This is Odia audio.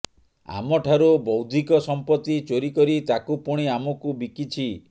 ଆମଠାରୁ ବୌଦ୍ଧିକ ସମ୍ପତି ଚୋରି କରି ତାକୁ ପୁଣି ଆମକୁ ବିକିଛି